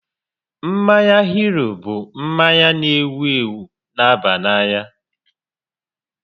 Mmanya hiri bụ mmanya n'ewu ewu n'aba n'anya